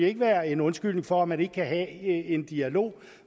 ikke være en undskyldning for at man ikke kan have en dialog